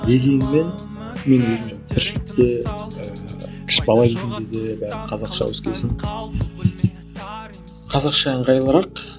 дегенмен мен өзім тіршілікте ііі бала кезімде де бәрі қазақша өскен осң қазақша ыңғайлырақ